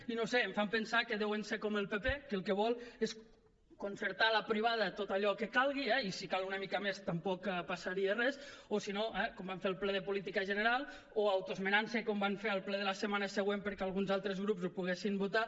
i no ho sé em fan pensar que deuen ser com el pp que el que vol és concertar a la privada tot allò que calgui eh i si cal una mica més tampoc passaria res o si no eh com van fer al ple de política general o autoesmenant se com van fer al ple de la setmana següent perquè alguns altres grups ho poguessin votar